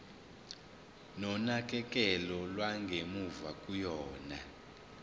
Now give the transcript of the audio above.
nonakekelo lwangemuva kokuya